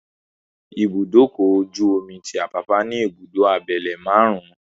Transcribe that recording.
Ibùdókọ̀ ojú-omi tí Àpápá ní ìbùdó abẹ́lé márùn-ún,